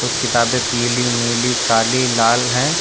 कुछ किताबें पीली नीली काली लाल हैं।